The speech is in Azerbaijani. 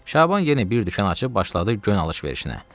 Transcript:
Şaban yenə bir dükan açıb başladı gön alış-verişinə.